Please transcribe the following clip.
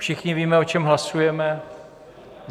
Všichni víme, o čem hlasujeme.